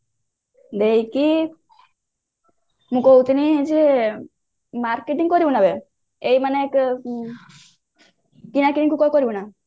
ମୁଁ କହୁଥିଲି ଯେ marketing କରିବୁନା ନା ଏଇ ମାନେ କିଣାକିନି ତୁ କରି ପାରିବୁ ନା